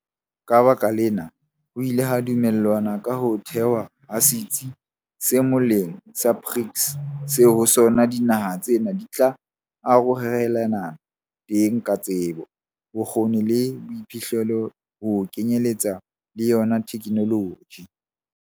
Ka lebaka lena, ho ile ha dumellanwa ka ho thehwa ha setsi se molaong sa BRICS seo ho sona dinaha tsena di tla arorelanang teng ka tsebo, bokgoni le boiphihlelo ho kenyeletsa le yona thekenoloji.